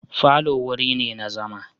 Falo wuri ne na zauma.